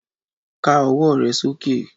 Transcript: ká ọwọ re soke!